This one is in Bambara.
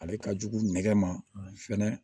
Ale ka jugu nɛgɛ ma fɛnɛ